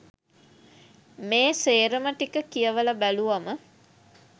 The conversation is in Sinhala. මේ සේරම ටික කියවල බැලුවම